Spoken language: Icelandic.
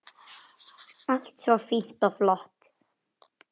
Allt svo fínt og flott.